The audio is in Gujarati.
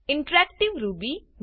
interactive Ruby